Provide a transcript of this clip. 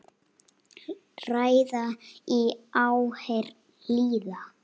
Ræða í áheyrn lýða.